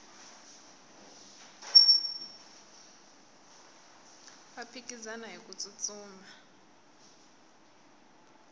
va phikizana hiku tsutsuma